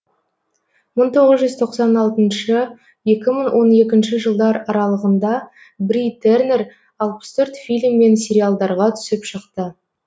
мың тоғыз жүз тоқсан алтыншы екі мың он екінші жылдар аралығында бри тернер алпыс төрт фильм мен сериалдарға түсіп шықты